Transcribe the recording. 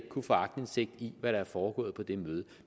kunne få aktindsigt i hvad der er foregået på det møde